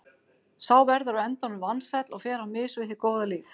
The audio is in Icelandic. Sá verður á endanum vansæll og fer á mis við hið góða líf.